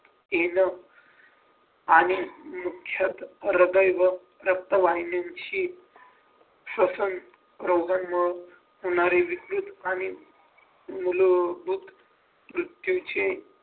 ये ना आणि नियुकचत हृदय व रक्तवाहिनींची श्वसन रोगांमुळे होणारे विपरीत आणि मूलभूत मृत्यूचे